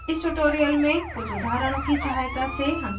इस tutorial में कुछ उदाहरणों की सहायता से